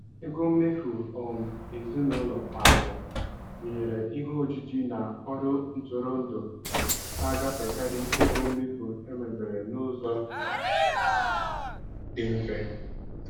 Ego mmefu um ezinụlọ kwa afọ, gụnyere ihe ojiji na ọrụ ntụrụndụ, na-agafekarị ego mmefu emebere n'ụzọ dị mfe.